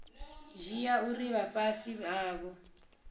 dzhia uri vha fhasi havho